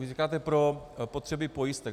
Vy říkáte pro potřeby pojistek.